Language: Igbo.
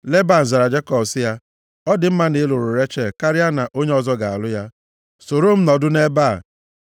Leban zara Jekọb sị ya, “Ọ dị mma na ị lụrụ Rechel karịa na onye ọzọ ga-alụ ya. Soro m nọdụ nʼebe a.”